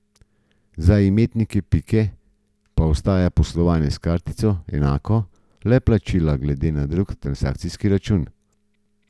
Za imetnike Pike pa ostaja poslovanje s kartico enako, le plačila gredo na drug transakcijski račun.